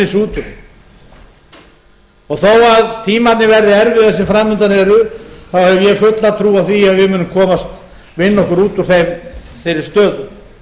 úr þeim þó að tímarnir verði erfiðir sem fram undan eru hef ég fulla trú á því að við munum vinna okkur út úr þeirri stöðu